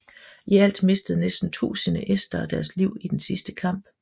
I alt mistede næsten tusinde estere deres liv i den sidste kamp